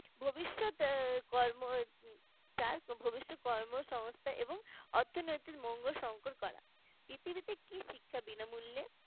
ভবিষ্যতে আহ কর্ম ভবিষ্যতের কর্মসংস্থা এবং অর্থনৈতিক মঙ্গল সংকট করা পৃথিবীতে কি শিক্ষা বিনামূল্যে